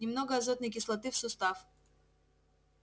немного азотной кислоты в сустав